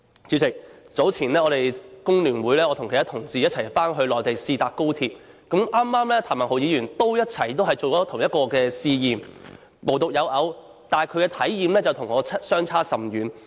主席，早前我與工聯會其他同事一起回內地試坐高鐵，剛好譚文豪議員也進行同一個試驗，但他的體驗與我相差甚遠。